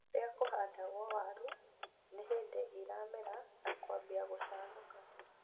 Kũrĩa kũhandagwo waru nĩhĩndi iramera na kwambia gũcanũka